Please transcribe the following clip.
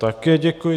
Také děkuji.